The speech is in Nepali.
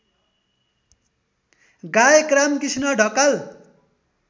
गायक रामकृष्ण ढकाल